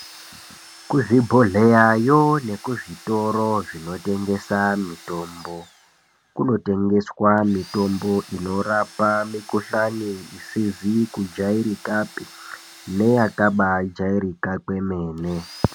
Kuzvibhedhleyayo nekuzvitoro zvinotengesa mitombo ,kunotengeswa mitombo inorapa mikhuhlani isizi kujairikapi neyakabaajairika kwemene.